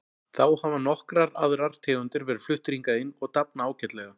Þá hafa nokkrar aðrar tegundir verið fluttar hingað inn og dafna ágætlega.